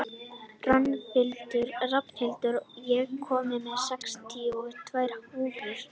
Rafnhildur, ég kom með sextíu og tvær húfur!